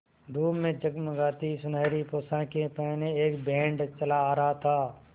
धूप में जगमगाती सुनहरी पोशाकें पहने एक बैंड चला आ रहा था